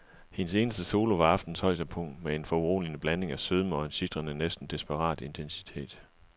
Hendes eneste solo var aftenens højdepunkt med en foruroligende blanding af sødme og en sitrende, næsten desperat intensitet.